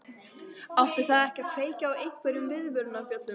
Átti það ekki að kveikja á einhverjum viðvörunarbjöllum?